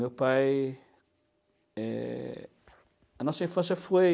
Meu pai... eh... A nossa infância foi...